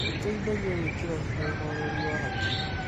nĩ gũteithagia gwĩkĩra hinya ũhoreri wa hakiri.